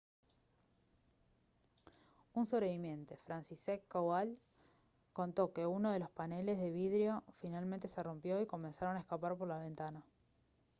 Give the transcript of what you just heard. un sobreviviente franciszek kowal «contó que uno de los paneles de vidrio finalmente se rompió y comenzaron a escapar por la ventana»